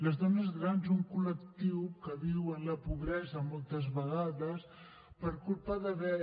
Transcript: les dones grans un col·lectiu que viu en la pobresa moltes vegades per culpa d’haver